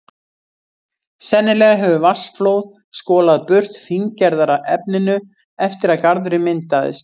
Sennilega hefur vatnsflóð skolað burt fíngerðara efninu eftir að garðurinn myndaðist.